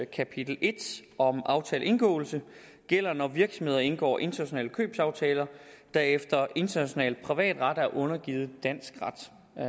kapitel i om aftaleindgåelse gælder når virksomheder indgår internationale købsaftaler der efter international privatret er undergivet dansk ret